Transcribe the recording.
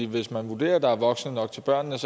hvis man vurderer at der er voksne nok til børnene